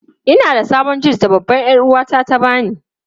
Ina da sabon jins da babbar 'yar'uwata ta ba ni.